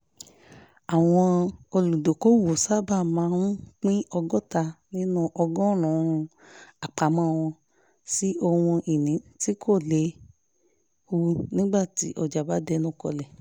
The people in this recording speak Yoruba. àwọn olùdókòwò sábà máa ń pín ọgọ́ta nínú ọgọ́rùn-ún àpamọ́ wọn sí ohun ìní tí kò léwu nígbà tí ọjà bá ń dẹnu kọlẹ̀